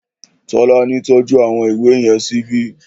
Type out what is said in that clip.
Tọ́lání tọ́jú àwọn ìwé yẹn síbi